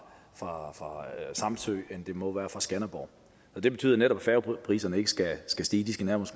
samsø end det må være fra skanderborg og det betyder netop at færgepriserne ikke skal skal stige de skal